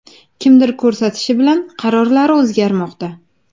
Kimdir ko‘rsatishi bilan qarorlari o‘zgarmoqda.